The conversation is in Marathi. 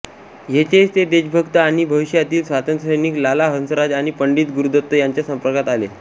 येथेच ते देशभक्त आणि भविष्यातील स्वातंत्र्यसैनिक लाला हंसराज आणि पंडित गुरुदत्त यांच्या संपर्कात आले